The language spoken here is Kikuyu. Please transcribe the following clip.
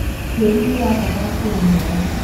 tĩĩri nĩũrabatara kurimwo